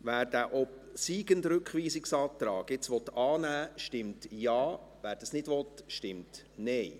Wer den obsiegenden Rückweisungsantrag annehmen will, stimmt Ja, wer dies nicht will, stimmt Nein.